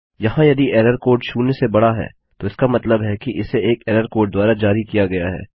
यहाँ यदि error code शून्य से बड़ा है तो इसका मतलब है कि इसे एक एरर कोड द्वारा जारी किया गया है